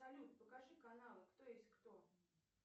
салют покажи каналы кто есть кто